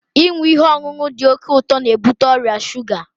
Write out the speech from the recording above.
Ịṅụ ihe ọṅụṅụ dị oke ụtọ n'ebute ọrịa shuga